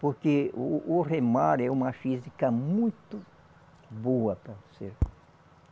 Porque o o remar é uma física muito boa para o ser